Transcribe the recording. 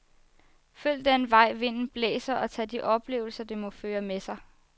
Følg den vej vinden blæser, og tag de oplevelser, det må føre med sig.